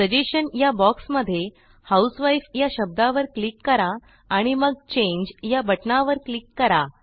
suggestion या बॉक्समध्ये housewifeया शब्दावर क्लिक करा आणि मगChangeया बटणावर क्लिक करा